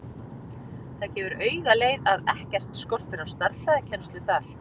Það gefur auga leið að ekkert skortir á stærðfræðikennslu þar.